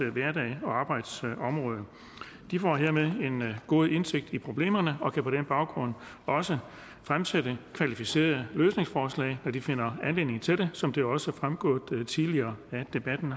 hverdag og arbejdsområde de får hermed en god indsigt i problemerne og kan på den baggrund også fremsætte kvalificerede løsningsforslag når de finder anledning til det som det også er fremgået tidligere af debatten